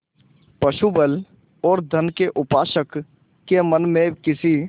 पशुबल और धन के उपासक के मन में किसी